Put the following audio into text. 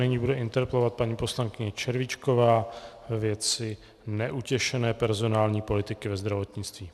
Nyní bude interpelovat paní poslankyně Červíčková ve věci neutěšené personální politiky ve zdravotnictví.